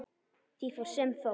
Því fór sem fór.